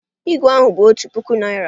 Ígwè ahụ bụ otu puku Naịra